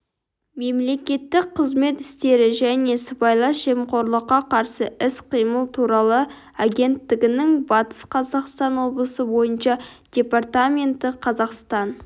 мемлекеттік қызмет істері және сыбайлас жемқорлыққа қарсы іс-қимыл туралы агенттігінің батыс қазақстан облысы бойынша департаменті қазақстан